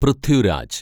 Prithviraj